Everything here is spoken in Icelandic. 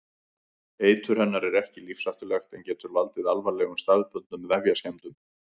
Eitur hennar er ekki lífshættulegt en getur valdið alvarlegum staðbundnum vefjaskemmdum.